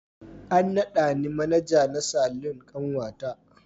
An nada ni Manaja na Salon kanwata.